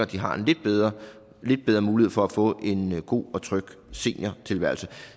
de har en lidt bedre bedre mulighed for at få en god og tryg seniortilværelse